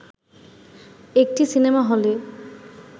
একটি সিনেমা হলে